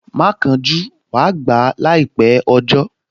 Má kánjú, wàá gbà á láìpẹ́ ọjọ́